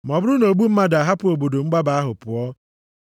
“ ‘Ma ọ bụrụ na ogbu mmadụ a ahapụ obodo mgbaba ahụ pụọ, ọ bụrụkwa,